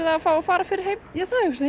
að fá að fara fyrr heim já ég hugsa